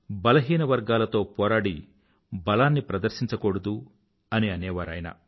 బలహీనవర్గాలతో పోరాడి బలాన్ని ప్రదర్శించకూడదు అని అనేవారు ఆయన